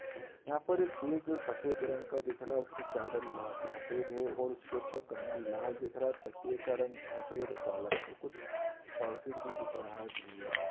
यहाँ पर एक बेड जो सफेद रंग का दिख रहा है उसकी चादर लाल सफेद है और उस के ऊपर कंबल लाल दिख रहा है। तकिये का रंग सफेद और काला है और कुछ सर्किट भी दिख रहा है बिजली का।